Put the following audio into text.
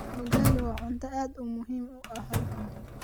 Ugali waa cunto aad muhiim u ah halkan